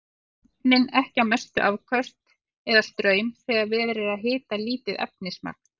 Stilla ofninn ekki á mestu afköst eða straum þegar verið er að hita lítið efnismagn.